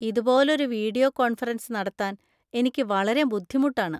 ഇതുപോലൊരു video conference നടത്താൻ എനിക്ക് വളരെ ബുദ്ധിമുട്ടാണ്.